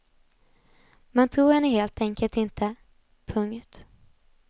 Man tror henne helt enkelt inte. punkt